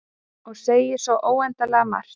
Og segja svo óendanlega margt.